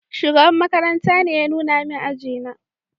Shugaban makaranta ne ya nuna min aji na